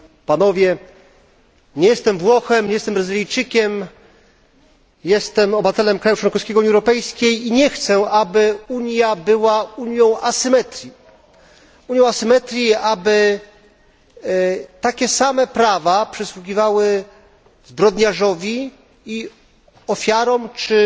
Nie jestem Włochem, nie jestem Brazylijczykiem, jestem obywatelem kraju członkowskiego Unii Europejskiej i nie chcę, aby Unia była unią asymetrii, aby takie same prawa przysługiwały zbrodniarzowi i ofiarom czy